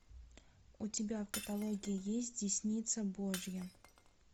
у тебя в каталоге есть десница божья